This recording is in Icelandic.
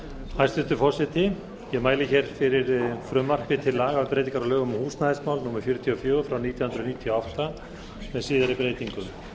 hæstvirtur forseti ég mæli fyrir frumvarpi til laga um breytingar á lögum um húsnæðismál númer fjörutíu og fjögur nítján hundruð níutíu og átta með síðari breytingum